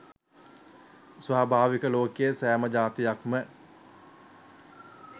ස්වභාවිකව ලෝකයේ සෑම ජාතියක්ම